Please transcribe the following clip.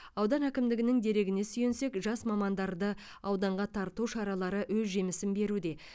аудан әкімдігінің дерегіне сүйенсек жас мамандарды ауданға тарту шаралары өз жемісін беруде